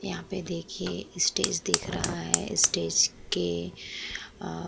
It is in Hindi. यहां पर देखिए स्टेज दिख रहा है। स्टेज के अ --